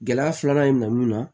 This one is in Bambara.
Gɛlɛya filanan in na mun na